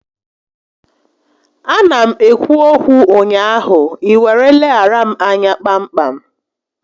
A na m ekwu okwu ụnyaahụ, ị were leghara m anya kpa m kpam